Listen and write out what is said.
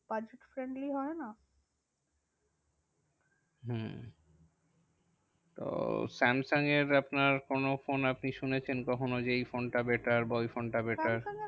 Budget friendly হয় না। Hmm তো স্যামসাং এর আপনার কোনো ফোন আপনি শুনেছেন কখনো যে এই ফোনটা better বা ওই ফোনটা better. স্যামসাং এর